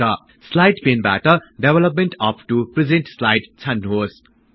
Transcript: slide पेनबाट development up to present slide छान्नुहोस्